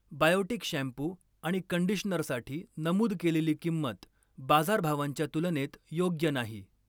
Biotique shampoo आणि कंडिशनरसाठी नमूद केलेली किंमत बाजारभावांच्या तुलनेत योग्य नाही.